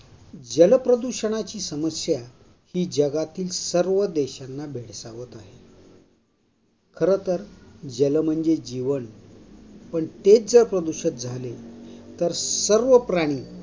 जलप्रदूषणाची समस्या ही जगातील सर्व देशांना भेळसावत आहे. खर तर, जल म्हणजे जीवन पण तेच ज्या प्रदूषित झाले तर सर्व प्राणी